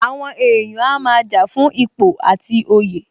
Àwọn èèyàn a máa jà fún ipò àti oyè